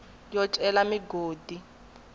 yo cela migodi hi ku